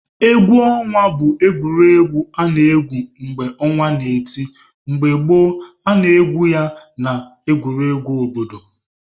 Egwu ọnwa bụ egwuregwu a na-egwu mgbe ọnwa n'eti. Mgbe gboo, a na-egwu ya n'ama egwuregwu obodo.